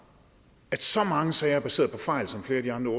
at så mange sager er baseret på fejl som flere af de andre